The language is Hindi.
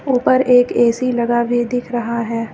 ऊपर एक ए_सी लगा भी दिख रहा हैं।